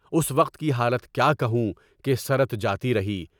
اُس وقت کی حالت کیا کہوں کہ سرت جاتی رہی؟